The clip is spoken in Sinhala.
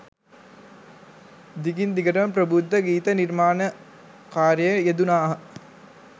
දිගින් දිගටම ප්‍රබුද්ධ ගීත නිර්මාණ කාර්යයේ යෙදුනාහ